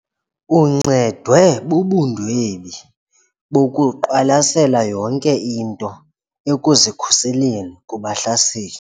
Uncedwe bubundwebi bokuqwalasela yonke into ekuzikhuseleni kubahlaseli.